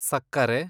ಸಕ್ಕರೆ